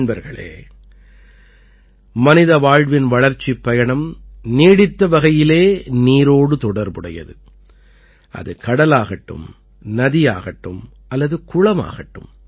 நண்பர்களே மனித வாழ்வின் வளர்ச்சிப் பயணம் நீடித்த வகையிலே நீரோடு தொடர்புடையது அது கடலாகட்டும் நதியாகட்டும் அல்லது குளமாகட்டும்